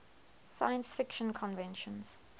science fiction conventions